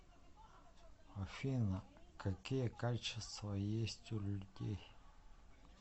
афина какие качества есть у людей